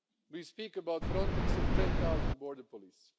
We speak about a Frontex of ten thousand border police.